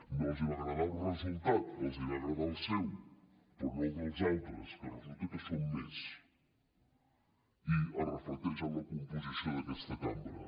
no els va agradar el resultat els va agradar el seu però no el dels altres que resulta que som més i es reflecteix en la composició d’aquesta cambra